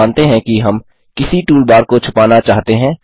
मानते हैं कि हम किसी टूलबार को छुपाना चाहते हैं